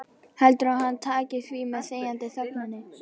Heldurðu að hann taki því með þegjandi þögninni?